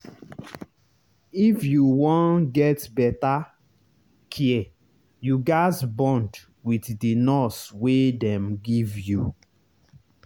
if you wan get better care you gaz bond with the nurse wey dem give you.